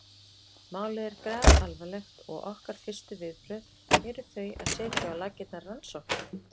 Málið er grafalvarlegt og okkar fyrstu viðbrögð eru þau að setja á laggirnar rannsóknarnefnd.